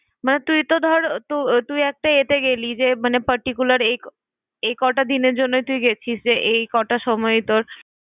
মানে তুই তো ধর, আহ তুই একটা এতে গেলি যে মানে particular এ~ এই কটা দিনের জন্য তুই গেছিস যে, এই কটা সময় তোর।